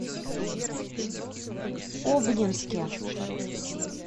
обнинске